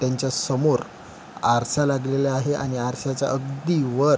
त्यांच्या समोर आरसा लागलेला आहे आणि आरसाच्या अगदी वर--